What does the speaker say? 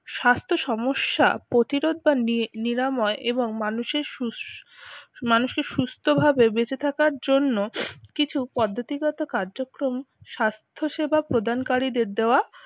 স্বাস্থ্য সমস্যা প্রতিরোধ বা নি ~ নিরাময় এবং মানুষের সুস মানুষকে সুস্থভাবে বেঁচে থাকার জন্য কিছু পদ্ধতিগত কার্যক্রম স্বাস্থ্য সেবা প্রদানকারীদের দেওয়া